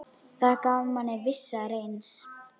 Það gaf manni vissa reisn.